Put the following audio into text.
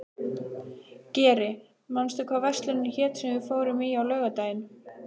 Geri, manstu hvað verslunin hét sem við fórum í á laugardaginn?